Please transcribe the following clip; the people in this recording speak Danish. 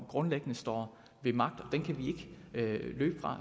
grundlæggende står ved magt og den kan vi ikke løbe fra